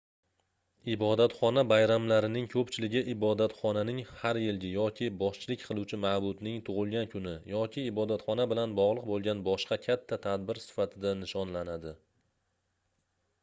ibodatxona bayramlarining koʻpchiligi ibotxonaning har yilgi yoki boshchilik qiluvchi maʼbudning tugʻilgan kuni yoki ibodatxona bilan bogʻliq boʻlgan boshqa katta tadbir sifatida nishonlanadi